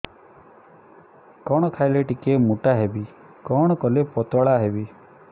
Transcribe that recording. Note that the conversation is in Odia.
କଣ ଖାଇଲେ ଟିକେ ମୁଟା ହେବି କଣ କଲେ ପତଳା ହେବି